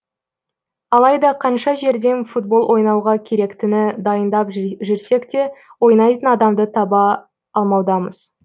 алайда қанша жерден футбол ойнауға керектіні дайындап жүрсек те ойнайтын адамды таба алмаудамыз